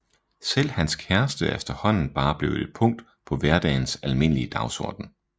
Selv hans kæreste er efterhånden bare blevet et punkt på hverdagens almindelige dagsorden